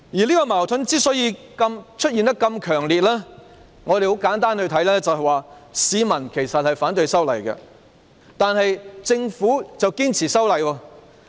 這個矛盾之所以這麼強烈，簡單來看是因為市民反對修例，但政府卻堅持修例。